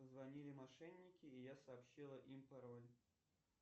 позвонили мошенники и я сообщила им пароль